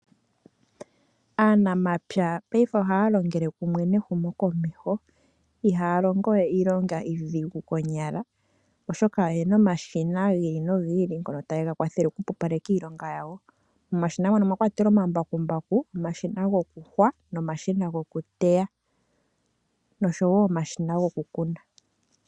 Aanamapya ngashingeyi oha ya longele kumwe nehumo komeho. Iha ya longo we iilonga iidhigu konyala. Oshoka oyena omashina gi ili nogi ili ngono tage ya kwathele okupupaleka iilonga yawo. Momashina mono omwa kwatelwa omambakumbaku, omashina gokuyungula, omashina gokuteya nosho wo omashina gokukuna.